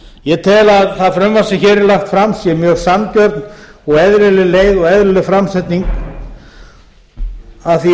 ég tel að það frumvarp sem hér er lagt fram sé mjög sanngjörn og eðlileg leið og eðlileg framsetning að því